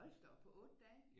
Hold da op på 8 dage